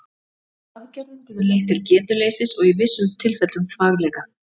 Aðgerðin getur leitt til getuleysis og í vissum tilfellum þvagleka.